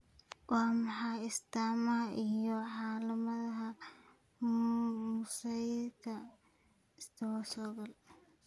Waa maxay astaamaha iyo calaamadaha mosaicka trisomy sagal?